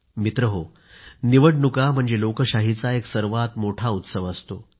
मित्रांनो निवडणुका म्हणजे लोकशाहीचा एक सर्वात मोठा उत्सव असतो